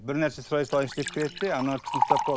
бір нәрсе сұрай салайыншы деп кіреді де ана кісіні ұстап қалады